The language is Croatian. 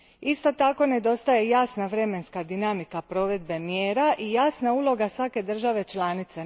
Isto tako nedostaje jasna vremenska dinamika provedbe mjera i jasna uloga svake države članice.